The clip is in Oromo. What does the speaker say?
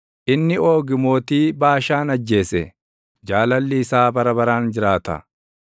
inni Oogi mootii Baashaan ajjeese; Jaalalli isaa bara baraan jiraata.